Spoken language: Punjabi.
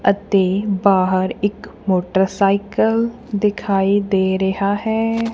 ਅਤੇ ਬਾਹਰ ਇੱਕ ਮੋਟਰਸਾਈਕਲ ਦਿਖਾਈ ਦੇ ਰਿਹਾ ਹੈ।